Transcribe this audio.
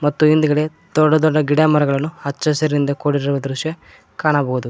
ಮತ್ತು ಹಿಂದ್ಗಡೆ ದೊಡ್ಡ ದೊಡ್ಡ ಗಿಡ ಮರಗಳನ್ನು ಹಚ್ಚ ಹಸಿರಿನಿಂದ ಕೂಡಿರುವ ದೃಶ್ಯ ಕಾಣಬಹುದು.